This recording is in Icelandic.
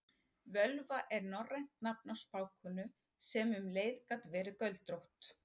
Völva er norrænt nafn á spákonu sem um leið gat verið göldrótt.